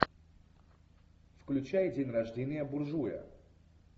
включай день рождения буржуя